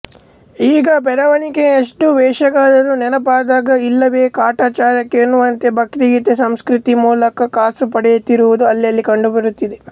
ಈಗ ಬೆರಳಣಿಕೆಯಷ್ಟು ವೇಷಗಾರರು ನೆನಪಾದಾಗ ಇಲ್ಲವೇ ಕಾಟಾಚಾರಕ್ಕೆ ಎನ್ನುವಂತೆ ಭಕ್ತಿಗೀತೆ ಸಂಸ್ಕೃತಿ ಮೂಲಕ ಕಾಸು ಪಡೆಯುತ್ತಿರುವುದು ಅಲ್ಲಲ್ಲಿ ಕಂಡು ಬರುತ್ತಿದೆ